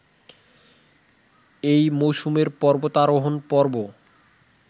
এই মওসুমের পবর্তারোহন পর্ব